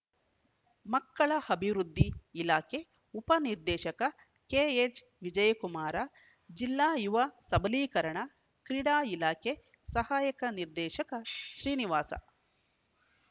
ಮಕ್ಕಳ ಅಭಿವೃದ್ಧಿ ಇಲಾಖೆ ಉಪ ನಿರ್ದೇಶಕ ಕೆಎಚ್‌ವಿಜಯಕುಮಾರ ಜಿಲ್ಲಾ ಯುವ ಸಬಲೀಕರಣ ಕ್ರೀಡಾ ಇಲಾಖೆ ಸಹಾಯಕ ನಿರ್ದೇಶಕ ಶ್ರೀನಿವಾಸ